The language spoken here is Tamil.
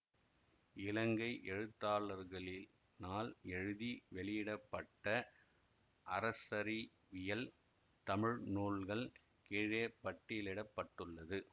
இலங்கை எழுத்தாளர்களினால் எழுதி வெளியிட பட்ட அரசறிவியல் தமிழ் நூல்கள் கீழே பட்டியலிட பட்டுள்ளது